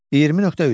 20.3.